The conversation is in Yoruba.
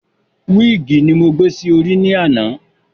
Wíìgì ni mo gbé sí orí ní àná